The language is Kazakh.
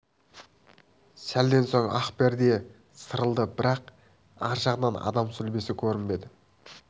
сәлден соң ақ перде сәл сырылды бірақ ар жағынан адам сүлбесі көрінбеді